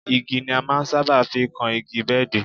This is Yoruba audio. Igi ni a máa ń sábà fi kan igi bẹ́ẹ̀dì